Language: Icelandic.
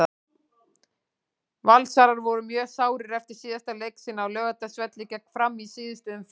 Valsarar voru mjög sárir eftir síðasta leik sinn á Laugardalsvelli gegn Fram í síðustu umferð.